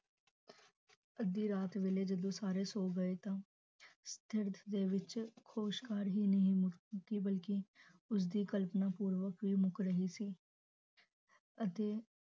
ਅੱਦੀ ਰਾਤ ਵੇਲੇ ਜਦੋ ਸਾਰੇ ਸੋ ਗਏ ਤਾਂ ਦਰਦ ਦੇ ਵਿਚ ਹੋਸ ਹੈ ਬਲਕਿ ਉਸਦੀ ਕਲਪਨਾ ਪੂਰਵਕ ਮੁਕ ਰਹੀ ਸੀ ਅਤੇ